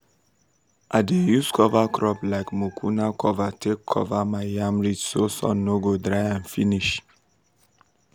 i dey use cover crops like mucuna cover take cover my yam ridge so sun no go dry am finish.